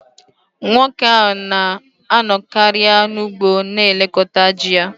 Nwoke ahụ na-anọkarị n’ugbo na-elekọta ji ya